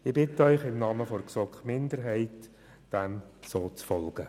Ich bitte Sie im Namen der GSoK-Minderheit, diesem Antrag zu folgen.